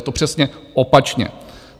Je to přesně opačně.